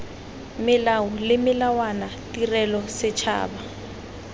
melao le melawana tirelo setšhaba